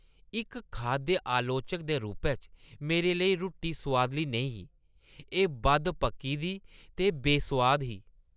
इक खाद्य आलोचक दे रूपै च मेरे लेई रुट्टी सोआदली नेईं ही। एह् बद्ध पक्की दी ते बेसोआद ही।